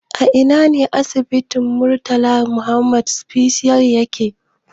A Ina asibitin ƙwararru na Murtala Muhammed Specialist yake?